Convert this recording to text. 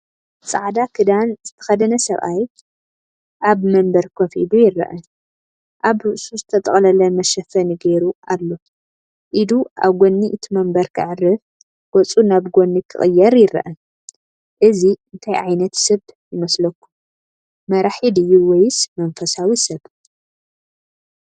ጻዕዳ ክዳን ዝተኸድነ ሰብኣይ ኣብ መንበር ኮፍ ኢሉ ይርአ። ኣብ ርእሱ ዝተጠቕለለ መሸፈኒ ገይሩ ኣሎ። ኢዱ ኣብ ጎድኒ እቲ መንበር ከዕርፍ፡ ገጹ ናብ ጎድኒ ክቕየር ይረአ። እዚ እንታይ ዓይነት ሰብ ይመስለኩም? መራሒ ድዩ ወይስ መንፈሳዊ ሰብ?